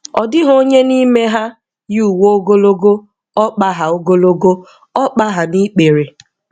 Ọ dịghị onye n'ime ha yi uwe ogologo ọkpa ha ogologo ọkpa ha n'ikpere.